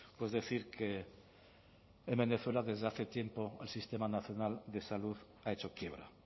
pues decir que en venezuela desde hace tiempo el sistema nacional de salud ha hecho quiebra